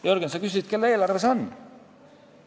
Jürgen, sa küsisid, kelle eelarve see on.